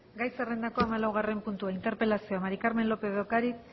gai zerrendako hamalaugarren puntua interpelazioa maría del carmen lópez de ocariz